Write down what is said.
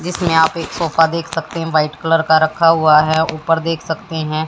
जिसमें आप एक सोफा देख सकते हैं व्हाइट कलर का रखा हुआ है ऊपर देख सकते हैं।